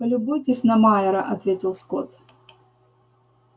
полюбуйтесь на майора ответил скотт